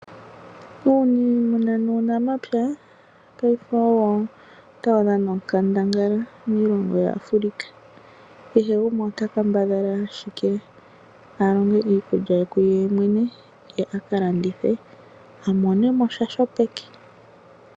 Uunimuna nuunamapya paife owo tawu dhana onkandangala miilongo yaAfrika kehe gumwe ota kambadhala ashike a longe iikulya ye kuye mwene ye aka landithe omonemosha sho peke.